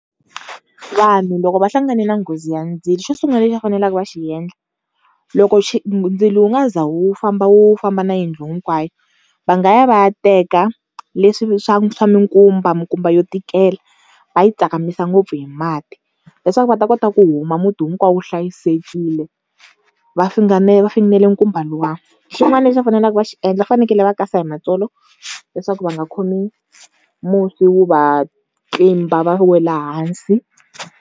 Vanhu loko va hlanganile na nghozi ya ndzilo xo sungula lexi va faneleke va xi endla, loko ndzilo wu nga za wu famba wu famba na yindlu hinkwayo va nga ya va ya teka leswi swa swa minkumba, minkumba yo tikela va yi tsakamisa ngopfu hi mati, leswaku va ta kota ku huma muti hinkwawo wu hlayisekile va funengele nkumba luwa. Xin'wana lexi va faneleke va xi endla va fanekele va kasa hi matsolo leswaku va nga khomi musi wu va tlimba va wela hansi.